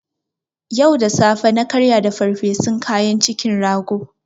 Yau da safe na karya da farfesun kanya ci na rago